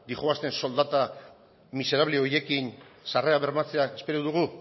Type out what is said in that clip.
doazen soldata miserable horiekin sarrerak bermatzea espero dugu